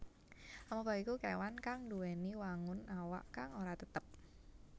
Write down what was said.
Amoeba iku kéwan kang nduwèni wangun awak kang ora tetep